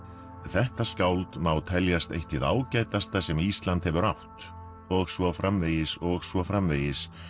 þetta skáld má teljast eitt hið ágætasta sem Ísland hefur átt og svo framvegis og svo framvegis